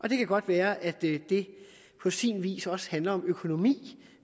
det kan godt være at det på sin vis også handler om økonomi